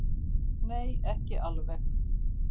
Nei, ekki alveg.